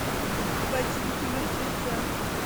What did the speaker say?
ботинки мертвеца